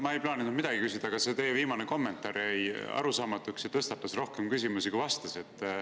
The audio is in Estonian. Ma ei plaaninud midagi küsida, aga see teie viimane kommentaar jäi arusaamatuks ja tõstatas rohkem küsimusi, kui vastas.